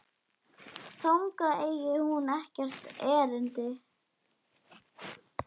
Þangað eigi hún ekkert erindi.